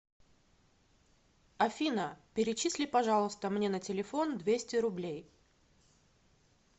афина перечисли пожалуйста мне на телефон двести рублей